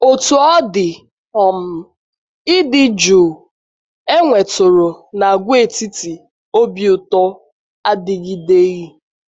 Otú ọ dị, um ịdị jụụ e e nwetụrụ n’Àgwàetiti Obi Ụtọ adịgideghị.